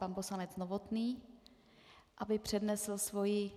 Pan poslanec Novotný, aby přednesl svoji...